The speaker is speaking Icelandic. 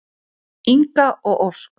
Inga og Ósk.